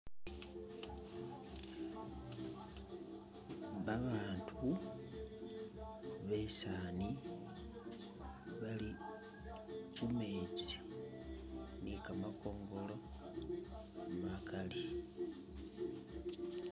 Babandu besaani bali khumetsi ne kamakhongolo makaali